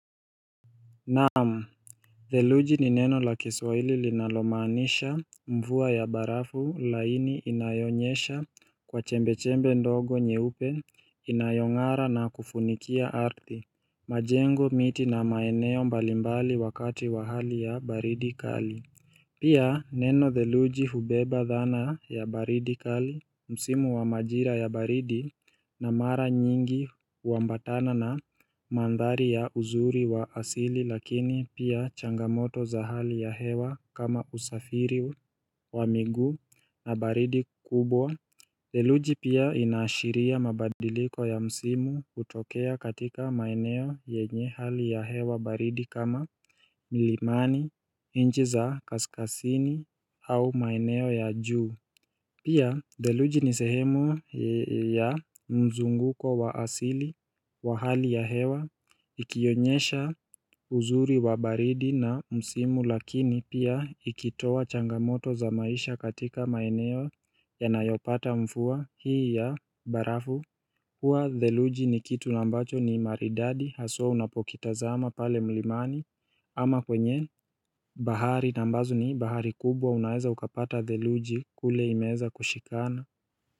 Naamu Deluji ni neno la kiswaili linalomanisha mvua ya barafu laini inayonyesha kwa chembe-chembe ndogo nye upe inayongara na kufunikia arti majengo miti na maeneo mbalimbali wakati wahali ya baridi kali Pia neno theluji hubeba dhana ya baridi kali, msimu wa majira ya baridi na mara nyingi uambatana na mandhari ya uzuri wa asili lakini pia changamoto za hali ya hewa kama usafiri wa migu na baridi kubwa Deluji pia inashiria mabadiliko ya msimu utokea katika maeneo yenye hali ya hewa baridi kama milimani, nji za kaskasini au maeneo ya juu. Pia deluji ni sehemu ya mzunguko wa asili wa hali ya hewa, ikionyesha uzuri wa baridi na msimu lakini pia ikitowa changamoto za maisha katika maeneo ya nayopata mfua hii ya barafu hua dheluji ni kitu lambacho ni maridadi haswa unapokitaza ama pale mlimani ama kwenye bahari nambazo ni bahari kubwa unaeza ukapata dheluji kule imeza kushikana.